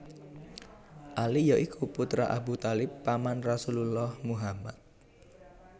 Ali ya iku putra Abu Thalib paman Rasulullah Muhammad